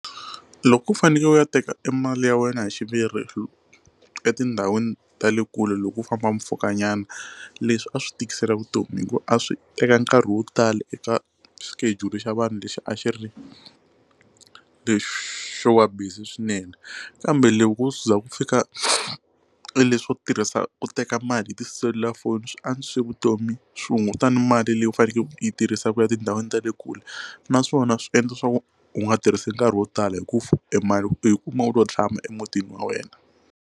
Loko u fanekele u ya teka mali ya wena hi xiviri etindhawini ta le kule loko u famba mpfhuka nyana leswi a swi tikisela vutomi hikuva a swi teka nkarhi wo tala eka xikejuli xa vanhu lexi a xi ri lexi wa busy swinene kambe loko ku u za ku fika leswo tirhisa ku teka mali hi tiselulafoni swi antswisile vutomi swi hungutana mali leyi u fanekele ku yi tirhisa ku ya tindhawini ta le kule naswona swi endla swa ku u nga tirhisi nkarhi wo tala hi ku e mali u yi kuma u lo tshama emutini wa wena.